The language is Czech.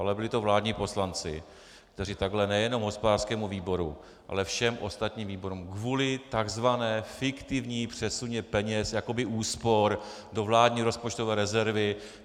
Ale byli to vládní poslanci, kteří takhle nejenom hospodářskému výboru, ale všem ostatním výborům kvůli tzv. fiktivnímu přesunu peněz jakoby úspor do vládní rozpočtové rezervy...